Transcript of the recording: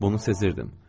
Bunu sezirdim.